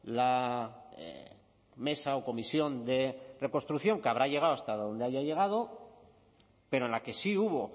la mesa o comisión de reconstrucción que habrá llegado hasta donde haya llegado pero en la que sí hubo